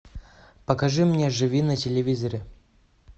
покажи мне живи на телевизоре